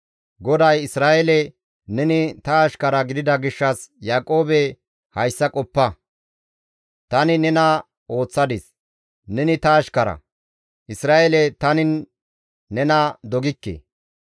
GODAY, «Isra7eele neni ta ashkara gidida gishshas, ‹Yaaqoobe hayssa qoppa; tani nena ooththadis; neni ta ashkara. Isra7eele tani nena dogikke.